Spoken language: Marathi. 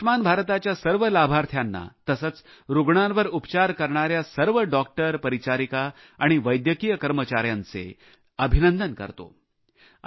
मी आयुष्मान भारतच्या सर्व लाभार्थींना तसेच रूग्णांवर उपचार करणाऱ्या सर्व डॉक्टर परिचारिका आणि वैद्यकीय कर्मचाऱ्यांचे अभिनंदन करतो